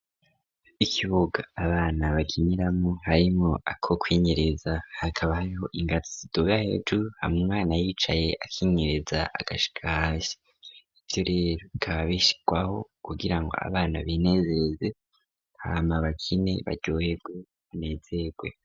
Ikibuga abana bakiniramwo harimwo ako kwinyereza hakabaayiho ingatidoba hejur hamwana yicaye akinkereza agashash ibyo rero kabishwaho kugira ngo abana binezereze nkama bakine bagoyegwe unezerwe.